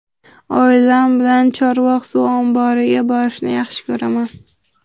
Oilam bilan Chorvoq suv omboriga borishni yaxshi ko‘raman.